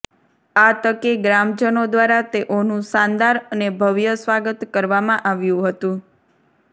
આ તકે ગ્રામજનો દ્વારા તેઓનું શાનદાર અને ભવ્ય સ્વાગત કરવામાં આવ્યું હતું